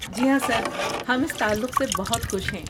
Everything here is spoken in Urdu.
جی ہاں سر، ہم اس تعلق سے بہت خوش ہیں۔